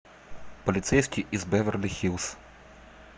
полицейский из беверли хиллз